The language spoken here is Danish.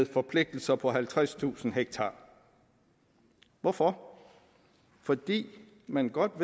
forpligtelser på halvtredstusind ha hvorfor fordi man godt